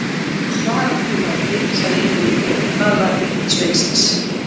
Svara þú, Láki, sagði Ingimundur og talaði til hins sveinsins.